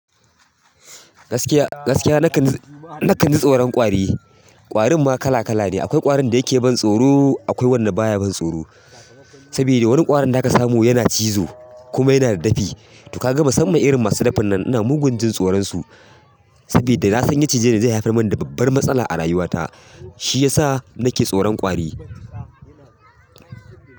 Gaskiya, gaskiya na kan, na kan ji tsoron ƙwari. Ƙwarin ma kala kala ne. Akwai ƙwarin da yake ban tsoro, akwai wanda baya ban tsoro. Sabida wani ƙwaron da ka samu yana cizo kuma yana da dafi. Tu ka ga musammam irin masu dafin nan, ina mugun jin tsoron su. Sabida na san in ya cije ni zai haifar mani da babbar matsala a rayuwata, shi ya sa na ke tsoron ƙwari.